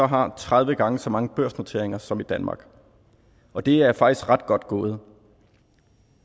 har tredive gange så mange børsnoteringer som i danmark og det er faktisk ret godt gået